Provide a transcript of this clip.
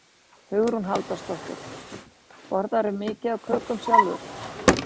Hugrún Halldórsdóttir: Borðarðu mikið af kökum sjálfur?